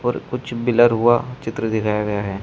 और कुछ बिलर हुआ चित्र दिखाया गया है।